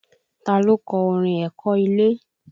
Ta ló kọ orin Èkó ilé?